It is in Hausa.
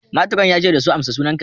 Matron ya ce da ''Amsa sunan ka!''